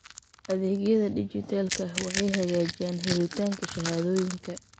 Adeegyada dijitaalka ah waxay hagaajiyaan helitaanka shahaadooyinka.